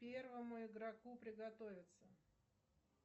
первому игроку приготовиться